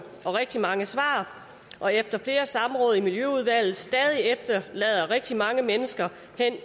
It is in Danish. og rigtig mange svar og efter flere samråd i miljøudvalget stadig efterlader rigtig mange mennesker